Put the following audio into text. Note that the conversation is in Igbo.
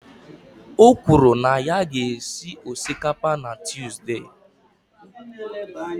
O kwuru na ya ga-esi osikapa na Tuzdee.